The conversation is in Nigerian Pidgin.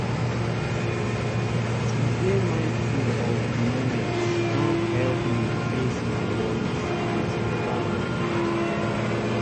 to dey mindful of the moment don help me face my worries with better mind.